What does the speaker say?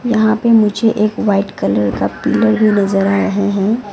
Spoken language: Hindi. यहां पे मुझे एक वाइट कलर का पिलर भी नजर आ रहे हैं।